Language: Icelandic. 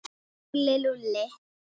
Lúlli, Lúlli.